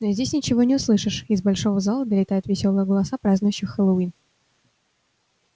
но здесь ничего не услышишь из большого зала долетают весёлые голоса празднующих хэллоуин